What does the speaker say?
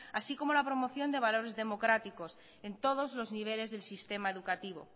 así como la promoción de valores democráticos en todos los niveles del sistema educativo